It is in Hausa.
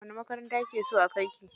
Wace makaranta kike so a kai ki?